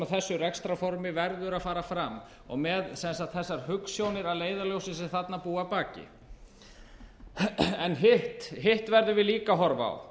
þessu rekstrarformi verður að fara fram og með þessar hugsjónir að leiðarljósi sem þarna búa að baki hitt verðum við líka að horfa á